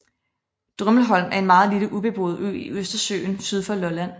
Drummelholm er en meget lille ubeboet ø i Østersøen syd for Lolland